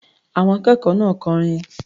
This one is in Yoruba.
Àwọn akẹ́kọ̀ọ́ náà kọrin.